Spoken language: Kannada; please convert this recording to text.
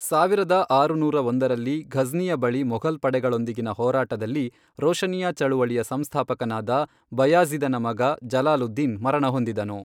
ಸಾವಿರದ ಆರುನೂರ ಒಂದರಲ್ಲಿ, ಘಜ್ನಿಯ ಬಳಿ ಮೊಘಲ್ ಪಡೆಗಳೊಂದಿಗಿನ ಹೋರಾಟದಲ್ಲಿ ರೋಶನಿಯಾ ಚಳವಳಿಯ ಸಂಸ್ಥಾಪಕನಾದ ಬಯಾಜಿ಼ದನ ಮಗ ಜಲಾಲುದ್ದೀನ್ ಮರಣ ಹೊಂದಿದನು.